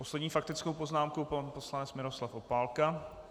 Poslední faktickou poznámku pan poslanec Miroslav Opálka.